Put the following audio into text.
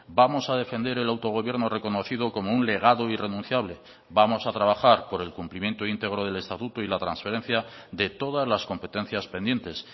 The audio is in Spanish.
vamos a defender el autogobierno reconocido como un legado irrenunciable vamos a trabajar por el cumplimiento íntegro del estatuto y la transferencia de todas las competencias pendientes